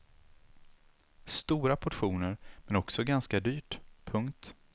Stora portioner men också ganska dyrt. punkt